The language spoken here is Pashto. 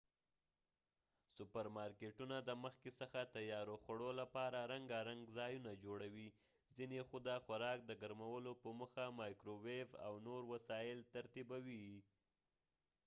سوپر مارکېټونه د مخکې څخه تیارو خوړو لپاره رنګارنګ ځایونه جوړوي ،ځینی خو د خوراک د ګرمولو په موخه مایکرو ويو او نور وسایل ترتیبوي